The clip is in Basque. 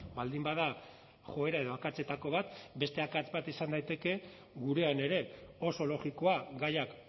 baldin bada joera edo akatsetako bat beste akats bat izan daiteke gurean ere oso logikoa gaiak